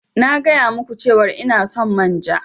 Na gaya ma ku cewar ina son manja.